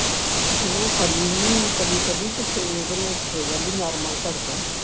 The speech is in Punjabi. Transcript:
ਉਹ ਖਾਂਦੀ ਹੁੰਦੀ ਹਾਂ ਕਦੀ ਕਦੀ ਤੇ ਫੇਰ normal ਹੋ ਜਾਂਦੀ ਸੀ ਧੜਕਨ